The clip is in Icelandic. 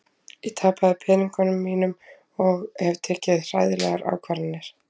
Ég tapaði peningunum mínum og hef tekið hræðilegar ákvarðanir.